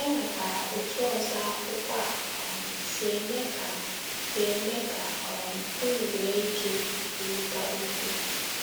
E nwekwara otú ọzọ akwụkwọ a um si eme ka si eme ka um unu nwee ike ikwurịta okwu.